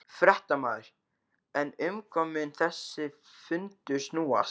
Fréttamaður: En um hvað mun þessi fundur snúast?